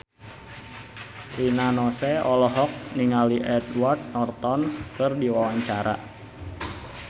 Rina Nose olohok ningali Edward Norton keur diwawancara